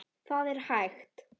Það er hægt!